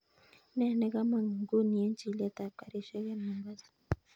Ne nakamang nguni en chilet ap karishek en mombasa